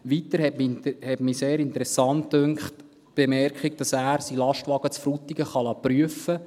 Weiter fand ich die Bemerkung sehr interessant, dass er seinen Lastwagen in Frutigen prüfen lassen kann.